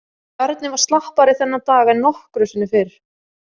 Bjarni var slappari þennan dag en nokkru sinni fyrr.